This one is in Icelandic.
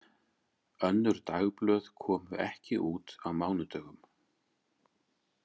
Önnur dagblöð komu ekki út á mánudögum.